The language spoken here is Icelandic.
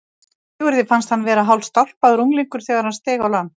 Sigurði fannst hann vera hálfstálpaður unglingur þegar hann steig á land.